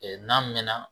n'a mɛnna